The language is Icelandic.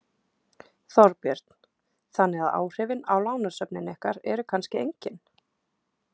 Þorbjörn: Þannig að áhrifin á lánasöfnin ykkar eru kannski engin?